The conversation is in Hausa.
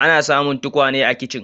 Ana samun tukwane a kicin.